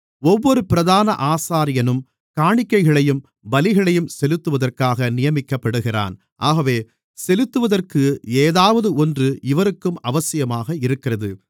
ஒவ்வொரு பிரதான ஆசாரியனும் காணிக்கைகளையும் பலிகளையும் செலுத்துவதற்காக நியமிக்கப்படுகிறான் ஆகவே செலுத்துவதற்கு எதாவது ஒன்று இவருக்கும் அவசியமாக இருக்கிறது